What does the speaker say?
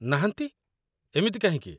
ନାହାନ୍ତି, ଏମିତି କାହିଁକି?